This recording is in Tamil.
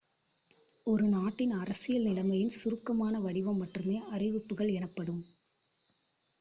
ஒரு நாட்டின் அரசியல் நிலைமையின் சுருக்கமான வடிவம் மட்டுமே அறிவிப்புகள் எனப்படும்